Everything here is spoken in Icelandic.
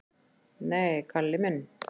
"""Nei, Kalli minn."""